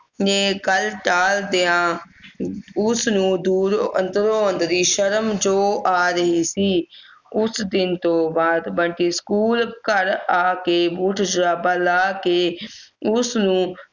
ਨੇ ਗੱਲ ਟਾਲ ਦੇਵਾਂ ਉਸ ਨੂੰ ਦੂਰ ਅੰਦਰੋ ਅੰਦਰੀ ਸ਼ਰਮ ਜਿਹੀ ਆ ਰਹੀ ਸੀ ਉਸ ਦਿਨ ਤੋਂ ਬਾਅਦ ਬੰਟੀ school ਘਰ ਆ ਕੇ boot ਜੁਰਾਬਾਂ ਲਾਹ ਕੇ ਉਸ ਨੂੰ